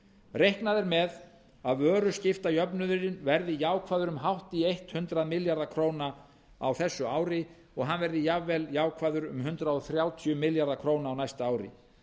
reiknað er með að vöruskiptajöfnuðurinn verði jákvæður um hátt í hundrað milljarða króna á þessu ári og hann verði jafnvel jákvæður um hundrað þrjátíu milljarða króna á næsta ári